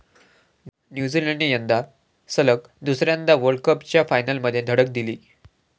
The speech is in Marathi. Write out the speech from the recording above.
न्यूझीलंडने यंदा सलग दुसऱ्यांदा वर्ल्डकपच्या फायनलमध्ये धडक दिली.